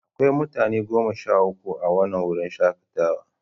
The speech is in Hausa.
Akwai mutane goma sha uku a wannan wurin shakatawa.